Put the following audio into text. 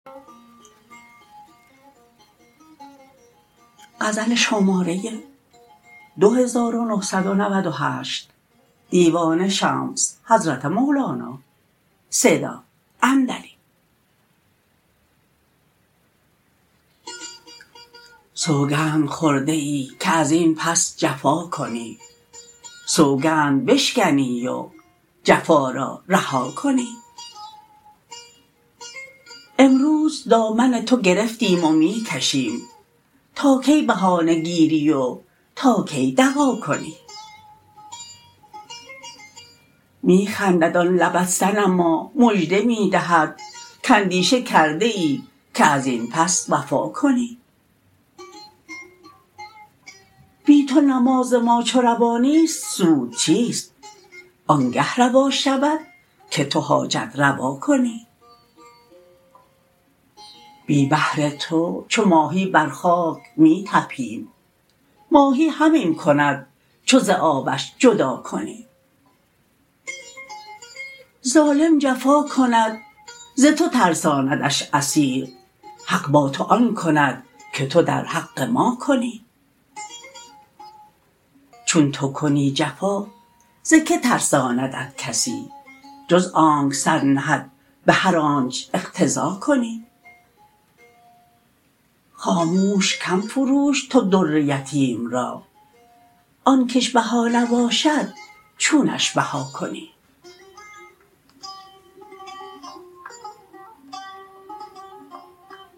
سوگند خورده ای که از این پس جفا کنی سوگند بشکنی و جفا را رها کنی امروز دامن تو گرفتیم و می کشیم تا کی بهانه گیری و تا کی دغا کنی می خندد آن لبت صنما مژده می دهد کاندیشه کرده ای که از این پس وفا کنی بی تو نماز ما چو روا نیست سود چیست آنگه روا شود که تو حاجت روا کنی بی بحر تو چو ماهی بر خاک می طپیم ماهی همین کند چو ز آبش جدا کنی ظالم جفا کند ز تو ترساندش اسیر حق با تو آن کند که تو در حق ما کنی چون تو کنی جفا ز کی ترساندت کسی جز آنک سر نهد به هر آنچ اقتضا کنی خاموش کم فروش تو در یتیم را آن کش بها نباشد چونش بها کنی